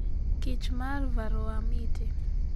kich mar Varroa Mite